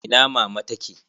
Ina mama ta ke?